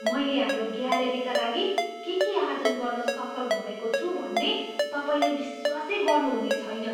मैले हाम्रो ग्यालरीका लागि के के आर्जन गर्न सफल भएको छु भन्ने तपाईँले विश्वासै गर्नुहुने छैन!